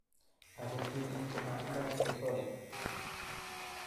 Ako ptulit koma tindo chesole".